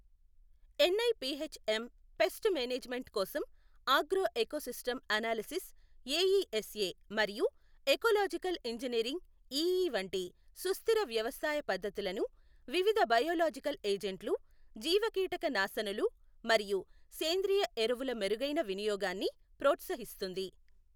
N I P H M pest management కోసం agro ecosystem analysis AESA మరియు ecological engineering EE వంటి సుస్థిర వ్యవసాయ పద్ధతులను వివిధ బయోలాజికల్ ఏజెంట్లు, జీవకీటక నాశనులు మరియు సేంద్రియ ఎరువుల మెరుగైన వినియోగాన్ని ప్రోత్సహిస్తుంది.